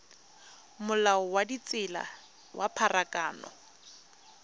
molao wa ditsela wa pharakano